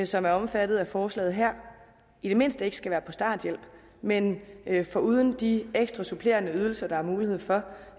som er omfattet af forslaget her i det mindste ikke skal være på starthjælp men men foruden de ekstra supplerende ydelser der er mulighed for